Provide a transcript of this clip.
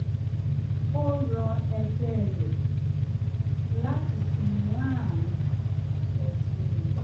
ó rọ e̩gbé̩ rẹ̀ láti sinmi láàárín ọtí mímu